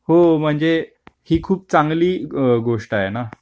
अहो म्हणजे ही खूप चांगली गोष्ट आहे ना.